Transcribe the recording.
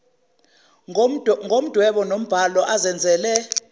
ngomdwebo nombhalo azenzele